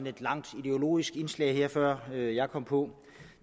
et langt ideologisk indslag her før jeg kom på